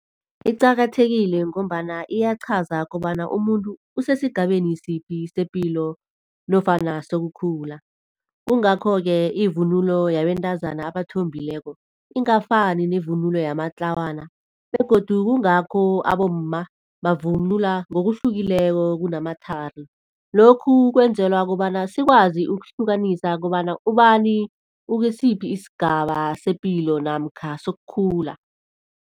Iqakathekile ngombana iyaqhaza kobana umuntu usesigabeni siphi sepilo nofana sokukhula. Kungakho-ke ivunulo yabentazana abathombileko ingafani nevunulo yamatlawana. Begodu kungakho abomma bavunula ngokuhlukileko kunamathari. Lokhu kwenzela kobana sikwazi ukuhlukanisa kobana ubani ukusiphi isigaba sepilo namkha sokukhula.